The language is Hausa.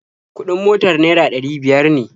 Kuɗin motar naira ɗari biyar ne